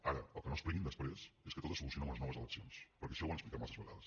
ara que no expliquin després que tot se soluciona amb unes noves eleccions perquè això ho han explicat massa vegades